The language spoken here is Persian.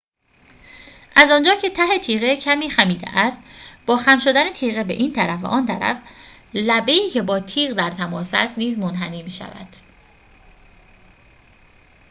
از آنجا که ته تیغه کمی خمیده است با خم شدن تیغه به این طرف و آن طرف لبه ای که با یخ در تماس است نیز منحنی می‌شود